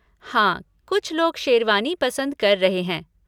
हाँ कुछ लोग शेरवानी पसंद कर रहे हैं।